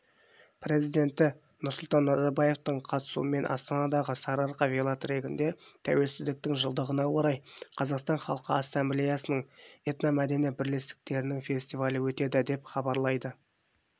президенті нұрсұлтан назарбаевтың қатысуымен астанадағы сарыарқа велотрегінде тәуелсіздіктің жылдығына орай қазақстан халқы ассамблеясының этномәдени бірлестіктерінің фестивалі өтеді деп хабарлайды